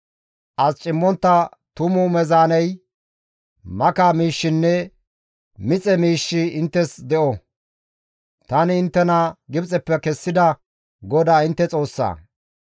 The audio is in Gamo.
As cimmontta tumu meezaaney, maka miishshinne mixe miishshi inttes de7o; tani inttena Gibxeppe kessida GODAA intte Xoossa.